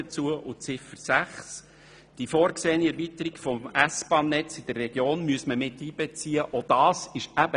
Zu Ziffer 6: Die vorgesehene Erweiterung des S-Bahnnetzes in der Region müsste mit einbezogen werden.